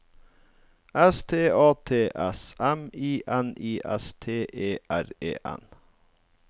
S T A T S M I N I S T E R E N